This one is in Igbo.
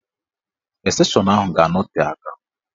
Estenshọn ahụ ga-anọte aka.